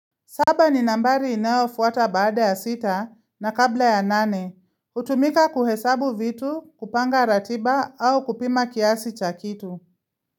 Saba ni nambari inayofuata baada ya sita na kabla ya nane. Utumika kuhesabu vitu, kupanga ratiba au kupima kiasi cha kitu.